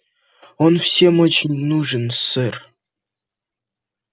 он всем очень нужен сэр